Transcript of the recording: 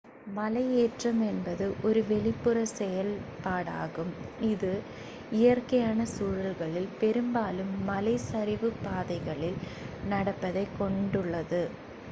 மலையேற்றம் என்பது ஒரு வெளிப்புறச் செயல்பாடாகும் இது இயற்கையான சூழல்களில் பெரும்பாலும் மலைச் சரிவுப் பாதைகளில் நடப்பதைக் கொண்டுள்ளது